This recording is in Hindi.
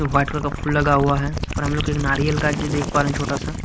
बॉटल का फूल लगा हुआ है और हमलोग के एक नारियल का ये देख पा रहे है छोटा सा।